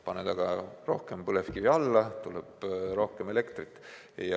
Paned aga rohkem põlevkivi alla, tuleb rohkem elektrit.